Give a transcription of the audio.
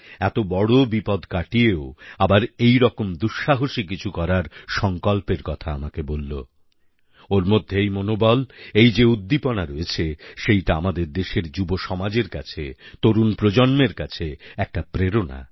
এত বড় বিপদ কাটিয়েও আবার এইরকম দুঃসাহসী কিছু করার সংকল্পের কথা আমাকে বলল ওর মধ্যে এই মনোবল এই যে উদ্দীপনা রয়েছে সেইটা আমাদের দেশের যুবসমাজের কাছে তরুণ প্রজন্মের কাছে একটা প্রেরণা